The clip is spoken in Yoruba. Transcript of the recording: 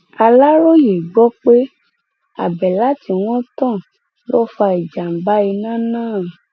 aláròye gbọ pé àbẹlà tí wọn tàn ló fa ìjàmbá iná náà